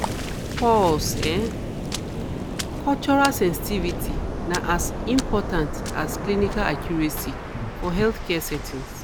pause um cultural sensitivity na as important as clinical accuracy for healthcare settings.